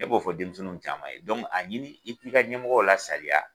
Ne b'o fɔ denmisɛnninw caman ye a ɲini i k'i ka ɲɛmɔgɔ la sariya